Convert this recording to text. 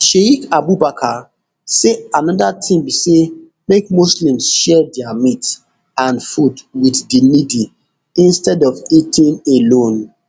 sheik abubakar say anoda tin be say make muslims share dia meat and food wit di needy instead of eating alone